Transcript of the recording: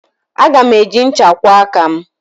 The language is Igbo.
Aga m eji ncha kwụọ aka m.